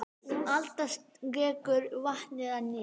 Alda skekur vatnið að nýju.